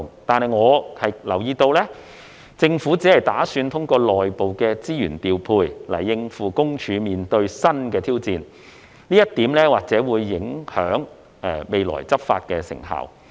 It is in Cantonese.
但是，我留意到，政府只打算通過內部的資源調配來應付私隱公署面對的新挑戰，這一點或會影響未來執法的成效。